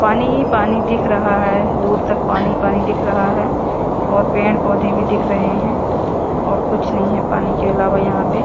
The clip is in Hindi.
पानी पानी दिख रहा है दूर तक पानी पानी दिख रहा है और पेड़ पौधे भी दिख रहे हैं और कुछ नहीं है पानी के अलावा यहां पे।